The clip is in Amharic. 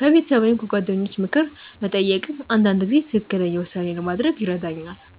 ከቤተሰብ ወይም ከጓደኞች ምክር መጠየቅም አንዳንድ ጊዜ ትክክለኛ ውሳኔ ለማድረግ ይረዳኛል።